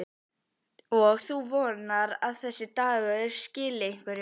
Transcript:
Og þú vonar að þessi dagur skili einhverju?